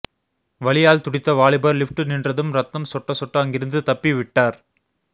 வலியால் துடித்த வாலிபர் லிப்ட் நின்றதும் ரத்தம் சொட்ட சொட்ட அங்கிருந்து தப்பி விட்டார்